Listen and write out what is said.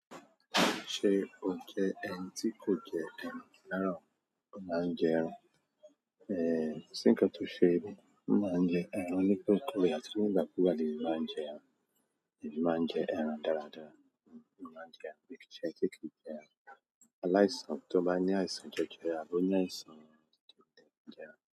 Ṣé o jẹ ẹni tí kò jẹ ẹran rára o, mo maa ń jẹ ẹran? E ko si nkan to ṣe mi mo máa ń jẹ ẹran nípe rẹ, àti nígbà kúgbà ni emi máa ń jẹ ẹran. Emi máa ń jẹ ẹran dáradára. Ṣé tí kí í jẹ ẹran? Aláìsàn toba ní àìsàn jẹjẹrẹ, a àbí o ní àìsàn tí kò le jẹ ẹran.